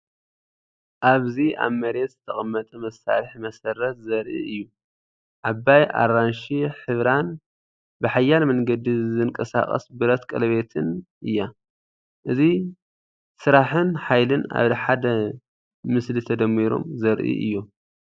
ኣብዚ ኣብ መሬት ዝተቐመጠ መሳርሒ መሰረት ዘርኢ እዩ። ዓባይ ኣራንሺ ሕብራን ብሓያል መንገዲ ዝንቀሳቐስ ብረት ቀለቤትን እያ። እዚ ስራሕን ሓይልን ኣብ ሓደ ምስሊ ተደሚሮም ዘርኢ እዮም።